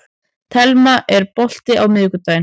Telma, er bolti á miðvikudaginn?